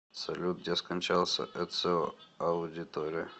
салют где скончался эцио аудиторе